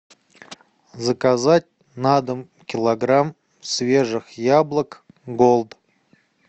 заказать на дом килограмм свежих яблок голд